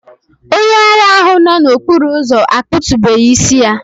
Onye ara ahụ nọ n'okporo ụzọ akpụ̀tubeghi isi ya